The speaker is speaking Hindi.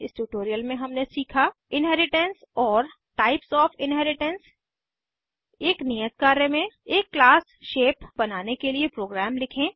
इस ट्यूटोरियल में हमने सीखा इन्हेरिटेन्स और इन्हेरिटेन्स के प्रकार एक नियत कार्य में एक क्लास शेप बनाने के लिए प्रोग्राम लिखें